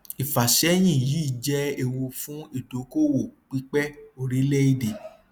ìfàsẹyìn yìí jẹ ewu fún ìdókòòwò pípẹ orílẹèdè